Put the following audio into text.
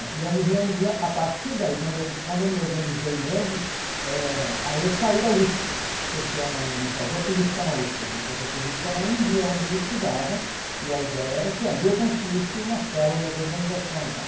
E eu me reunia a partir daí, quando eu quando eu me organizei mesmo, eh aí eu saí da USP, porque eu não não fazia política na USP, eu tinha que fazer política na Anhembi, aonde eu estudava, e a ideia era que ali eu construísse uma célula da organização e tal.